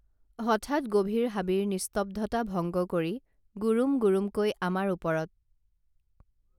হঠাৎ গভীৰ হাবিৰ নিস্তব্ধতা ভংগ কৰি গুৰুম গুৰুম কৈ আমাৰ ওপৰত